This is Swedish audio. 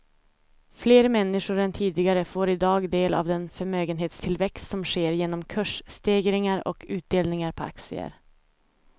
Fler människor än tidigare får i dag del av den förmögenhetstillväxt som sker genom kursstegringar och utdelningar på aktier.